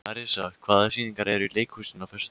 Arisa, hvaða sýningar eru í leikhúsinu á föstudaginn?